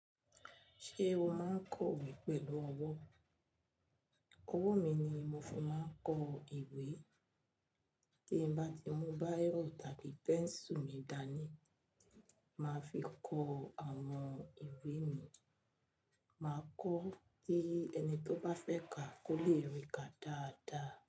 Ṣé o máa ń kọ ìwé pẹ̀lú ọwọ́? Owó mi ni mo fi máa ń kọ ìwé. Ti m bá ti mú báirọ̀ tàbí pẹ́ńsù mi dání, màá fi kọ àwọn ìwé mi. Màá kọ́ kí ẹni tó bá fẹ́ ka kó le rí ka dáadáa.